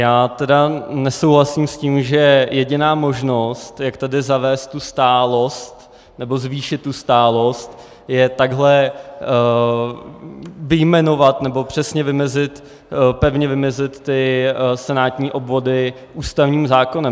Já tedy nesouhlasím s tím, že jediná možnost, jak tady zavést tu stálost, nebo zvýšit tu stálost, je takhle vyjmenovat nebo přesně vymezit, pevně vymezit ty senátní obvody ústavním zákonem.